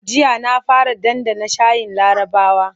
Jiya na fara ɗanɗana shayin larabawa.